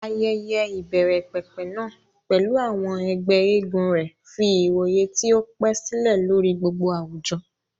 Ayẹyẹ ìbẹ̀rẹ̀pẹ̀pẹ̀ náà, pẹ̀lú àwọn ẹgbẹ́ eégún rẹ̀, fi ìwòye tí ó pẹ́ sílẹ̀ lórí gbogbo àwùjọ.